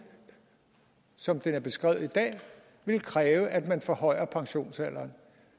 som den er beskrevet i dag vil kræve at man forhøjer pensionsalderen